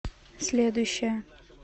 следующая